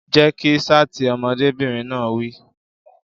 Jẹ́ kí ṣáàtì! Ọmọdébìnrin náà wí.